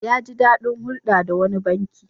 Ya ji daɗin hulɗa da wani banki.